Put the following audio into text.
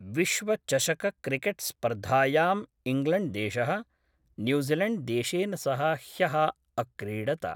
विश्वचषकक्रिकेट्स्पर्धायां इङ्ग्लेण्ड्देश: न्यूजीलेण्ड्देशेन सह ह्य: अक्रीडत।